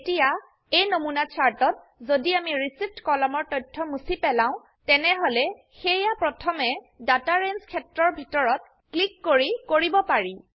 এতিয়া এই নমুনা চাৰ্ট ত যদি আমি ৰিচিভড কলমৰ তথ্য মুছি পেলাও তেনেহলে সেইয়া প্ৰথমে ডাটা ৰেঞ্জ ক্ষেত্ৰৰ ভিতৰত ক্লিক কৰি কৰিব পাৰি